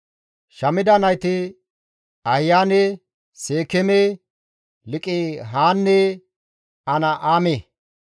Shamida nayti Ahiyaane, Seekeeme, Liiqihanne An7aame.